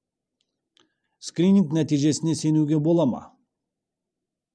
скрининг нәтижесіне сенуге бола ма